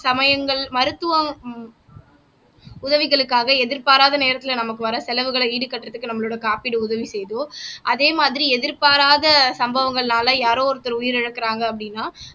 சமயங்கள் மருத்துவம் உதவிகளுக்காக எதிர்பாராத நேரத்துல நமக்கு வர செலவுகளை ஈடுகட்டுறதுக்கு நம்மளோட காப்பீடு உதவி செய்யுதோ அதே மாதிரி எதிர்பாராத சம்பவங்கள்னால யாரோ ஒருத்தர் உயிரிழக்குறாங்க அப்படின்னா